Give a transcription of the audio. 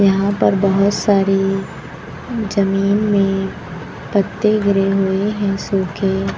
यहां पर बहोत सारी जमीन में पत्ते गिरे हुए हैं सुके।